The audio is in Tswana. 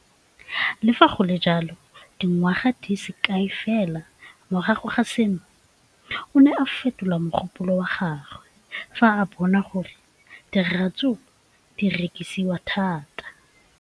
Le fa go le jalo, dingwaga di se kae fela morago ga seno, o ne a fetola mogopolo wa gagwe fa a bona gore diratsuru di rekisiwa thata.